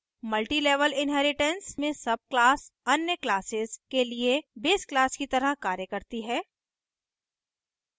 multi level inheritance में सबclass अन्य classes के लिए base class की तरह कार्य करती हैं